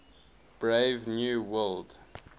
brave new world